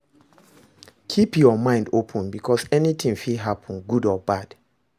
Keep your mind open because anything fit happen good or bad